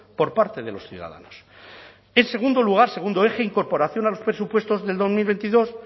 por parte de los ciudadanos en segundo lugar segundo eje incorporación a los presupuestos del dos mil veintidós